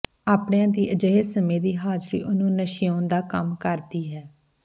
ਆਪਣਿਆਂ ਦੀ ਅਜਿਹੇ ਸਮੇਂ ਦੀ ਹਾਜ਼ਰੀ ਉਹਨੂੰ ਨਸ਼ਿਆਉਣ ਦਾ ਕੰਮ ਕਰਦੀ ਹੈ